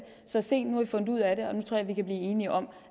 så sent nu har vi fundet ud af det og nu tror jeg at vi kan blive enige om